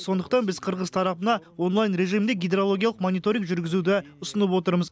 сондықтан біз қырғыз тарапына онлайн режимде гидрологиялық мониторинг жүргізуді ұсынып отырмыз